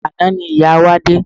Àná ni ìyá wa dé.